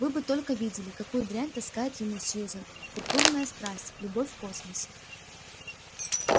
вы бы только видели какую дрянь таскает ему сьюзен пурпурная страсть любовь в космосе